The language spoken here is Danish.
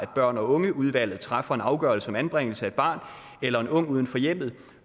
børn og unge udvalget træffer en afgørelse om anbringelse af et barn eller en ung uden for hjemmet